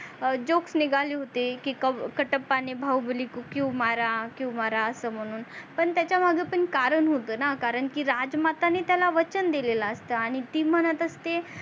joks निगाले होते की कटप्पा णे बाहुबली को क्यो मारा क्यो मारा अस म्हणून पण त्याच्या मागे पण कारण होत णा कारण की राजमाताणे त्याला वचन दिलेला असत आणि ती म्हणत असते